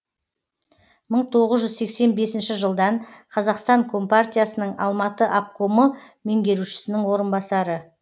мың тоғыз жүз сексен бесінші жылдан қазақстан компартиясының алматы обкомы меңгерушісінің орынбасары